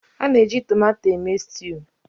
a na-eji tomato eme sutu